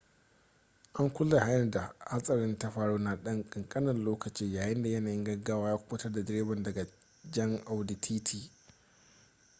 an kulle hanyar da hatsarin ta faru na dan kankanin lokaci yayinda yanayin gaggawa ya kubutar da direban daga jan audi tt